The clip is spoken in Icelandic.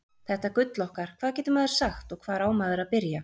Þetta gull okkar, hvað getur maður sagt og hvar á maður að byrja?